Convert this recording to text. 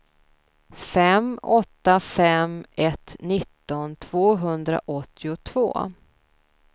fem åtta fem ett nitton tvåhundraåttiotvå